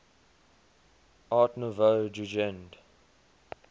art nouveau jugend